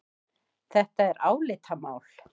Þetta er álitamál.